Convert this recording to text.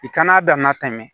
I kan'a damana tɛmɛ